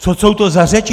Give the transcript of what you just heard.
Co jsou to za řeči?